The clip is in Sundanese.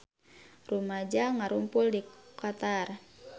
Rumaja ngarumpul di Qatar